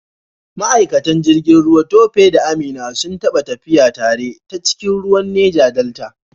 Ma’aikatan jirgin ruwa Tope da Amina sun taɓa tafiya tare ta cikin ruwan Neja Delta.